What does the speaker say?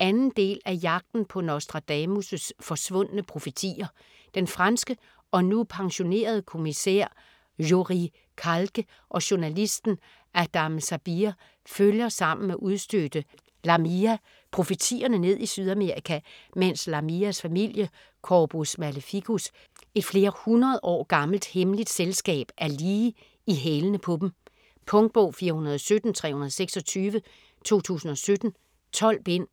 2. del af Jagten på Nostradamus' forsvundne profetier. Den franske og nu pensionerede kommissær Joris Calque og journalisten Adam Sabir følger sammen med udstødte Lamia profetierne ned i Sydamerika mens Lamias familie, Corpus Maleficus - et flere hundrede års gammelt hemmeligt selskab, er lige i hælene på dem. Punktbog 417326 2017. 12 bind.